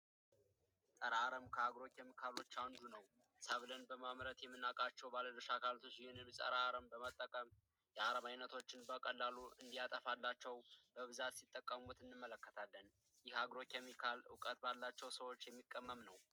ፀረ አረም ከአግሮ ኬሚካሎች ውስጥ አንዱ ነው ሰብልን ከሚያመርቱ ባለድርሻ አካሎች ይህንን ፀረ አረም በመጠቀም የአረም ዓይነቶችን በቀላሉ እንዲያጠፋላቸው ሲጠቀሙት እንመለከታለን የአሜሪካ እውቀት ባላቸው ሰዎች የሚቀመም ነው።